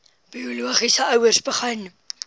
biologiese ouers begin